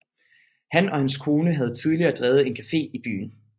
Han og hans kone havde tidligere drevet en café i byen